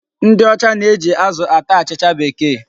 Ndị ọcha na-eji azụ ata achịcha Bekee.